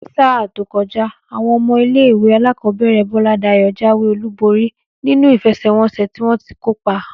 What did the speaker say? Ní sáà tó kojá, àwon omo ilé-ìwé alákòóbèrè Boladayo jáwé olúborí nínú ìfesèwonsè tí wọ́n ti kópa.